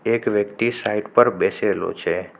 એક વ્યક્તિ સાઇડ પર બેસેલો છે.